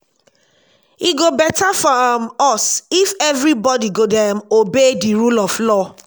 e go beta for um us if everybody go dey um obey the rule of law